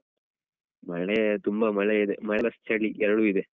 ಮಳೆ ತುಂಬ ಮಳೆ ಇದೆ minus ಚಳಿ ಎರಡೂ ಇದೆ.